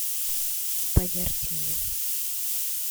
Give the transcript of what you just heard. поверьте мне